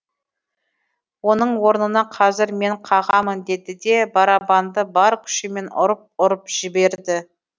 оның орнына қазір мен қағамын деді де барабанды бар күшімен ұрып ұрып жіберді